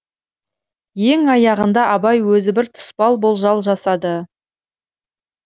ең аяғында абай өзі бір тұспал болжал жасады